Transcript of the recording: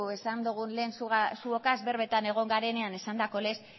ez dugu lehen zuokaz berbetan egon garenean esandako lez